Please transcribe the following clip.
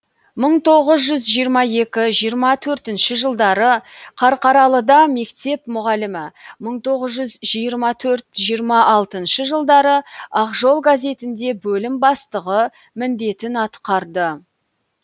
мың тоғыз жүз жиырма екі жиырма төртінші жылдары қарқаралыда мектеп мүғалімі мың тоғыз жүз жиырма төрт жиырма алтыншы жылдары ақ жол газетінде бөлім бастығы міндетін атқарды